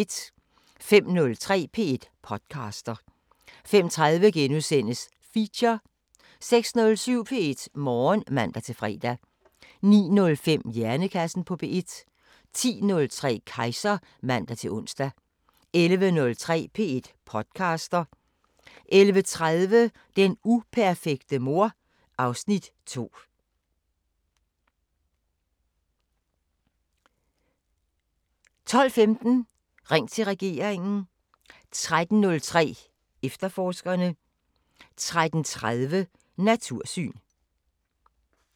05:03: P1 podcaster 05:30: Feature * 06:07: P1 Morgen (man-fre) 09:05: Hjernekassen på P1 10:03: Kejser (man-ons) 11:03: P1 podcaster 11:30: Den uperfekte mor (Afs. 2) 12:15: Ring til regeringen 13:03: Efterforskerne 13:30: Natursyn